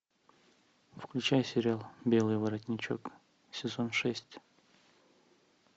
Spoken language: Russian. включай сериал белый воротничок сезон шесть